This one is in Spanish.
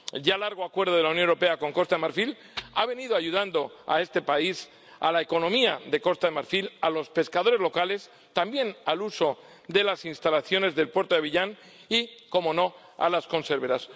El ya largo Acuerdo de la Unión Europea con Costa de Marfil ha venido ayudando a este país, a la economía de Costa de Marfil, a los pescadores locales, también al uso de las instalaciones del puerto de Abiyán, y, cómo no, a las conserveras.